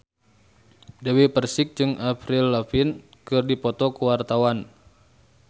Dewi Persik jeung Avril Lavigne keur dipoto ku wartawan